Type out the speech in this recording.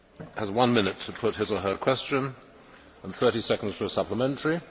has one minute to put his or her question and 30 seconds for a supplementary.